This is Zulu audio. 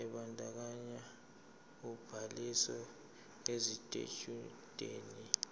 ebandakanya ubhaliso yesitshudeni